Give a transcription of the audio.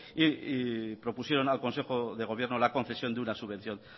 y propusieron al consejo de gobierno la concesión de una subvención